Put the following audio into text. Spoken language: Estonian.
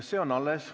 See on alles.